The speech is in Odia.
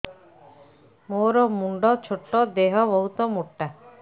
ମୋର ମୁଣ୍ଡ ଛୋଟ ଦେହ ବହୁତ ମୋଟା